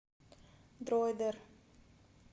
дройдер